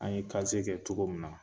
An ye kɛ cogo min na